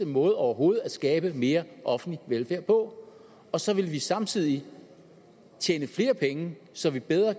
måde overhovedet at skabe mere offentlig velfærd på og så ville vi samtidig tjene flere penge så vi bedre